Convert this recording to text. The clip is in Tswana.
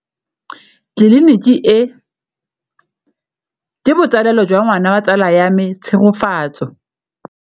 Tleliniki e, ke botsalêlô jwa ngwana wa tsala ya me Tshegofatso.